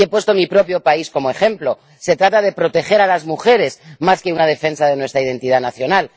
He puesto mi propio país como ejemplo se trata de proteger a las mujeres, más que una defensa de nuestra identidad nacional.